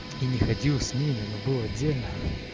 и не ходил с ними но был отдельно